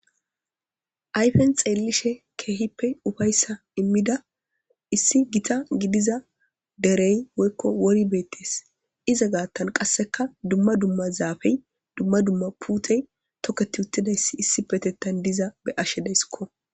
Ayfen xeellishe keehippe ufayssa immida issi gita gidiza derey woykko wori beettees iza gaattan qasseka dumma dumma zaafey dumma dumma puutey tokketi uttidayssi issi petettan diza be ashe deysikko.